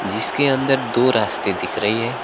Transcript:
जिसके अंदर दो रास्ते दिख रही है।